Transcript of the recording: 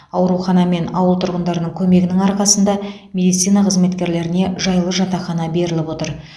аурухана мен ауыл тұрғындарының көмегінің арқасында медицина қызметкерлеріне жайлы жатақхана беріліп отыр